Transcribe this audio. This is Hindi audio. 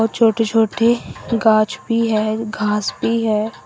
छोटे छोटे गांच भी है घास भी है।